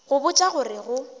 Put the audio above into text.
go botša go re go